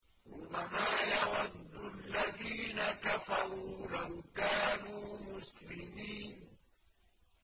رُّبَمَا يَوَدُّ الَّذِينَ كَفَرُوا لَوْ كَانُوا مُسْلِمِينَ